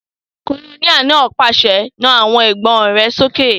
Kólóníẹ̀ náà pàṣẹ, "Na àwọn ìbọn rẹ sókè!"